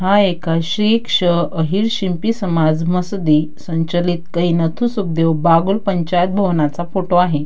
हा एका श्री क्ष अहिर शिंपी समाज मसदि संचालित कै नथू सुकदेव बागुल पंचायत भवनाचा फोटो आहे.